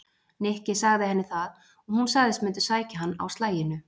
Nikki sagði henni það og hún sagðist mundu sækja hann á slaginu.